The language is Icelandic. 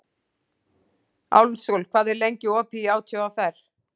Álfsól, hvað er lengi opið í ÁTVR?